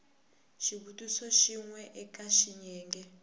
xivutiso xin we eka xiyenge